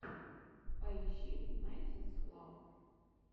поищи найнтисфлав